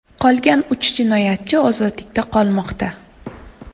Qolgan uch jinoyatchi ozodlikda qolmoqda.